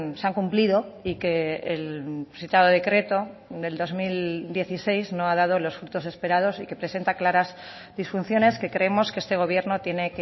se han cumplido y que el citado decreto del dos mil dieciséis no ha dado los frutos esperados y que presenta claras disfunciones que creemos que este gobierno tiene